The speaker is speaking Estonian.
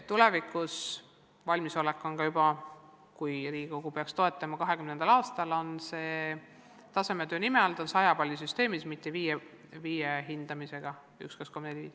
Tulevikus – kui Riigikogu peaks seda toetama, siis valmisolek on juba 2020. aastal – on see tasemetöö 100 palli süsteemis, mitte hindamisega üks, kaks, kolm, neli, viis.